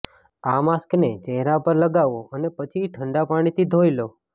આ માસ્કને ચહેરા પર લગાવો અને પછી ઠંડા પાણીથી ધોઈ લો